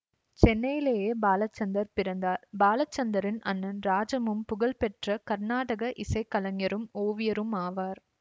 சென்னையிலேயே பாலச்சந்தர் பிறந்தார் பாலச்சந்தரின் அண்ணன் ராஜமும் புகழ்பெற்ற கருநாடக இசை கலைஞரும் ஓவியருமாவார்